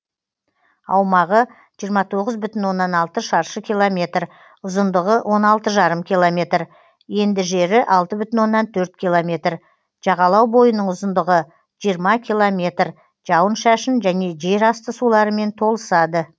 аумағы жиырма тоғыз бүтін оннан алты шаршы километр ұзындығы он алты жарым километр енді жері алты бүтін оннан төрт километр жағалау бойының ұзындығы жиырма километр жауын шашын және жер асты суларымен толысады